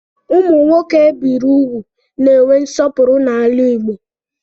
Ụmụ nwoke ebiri úgwù na-enwe nsọpụrụ n'ala Igbo.